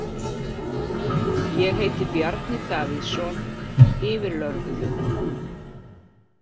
Ég heiti Bjarni Davíðsson, yfirlögregluþjónn.